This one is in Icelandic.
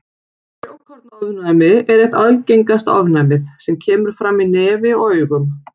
Frjókornaofnæmi er eitt algengasta ofnæmið sem kemur fram í nefi og augum.